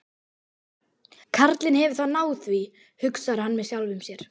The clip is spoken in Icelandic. Karlinn hefur þá náð því, hugsar hann með sjálfum sér.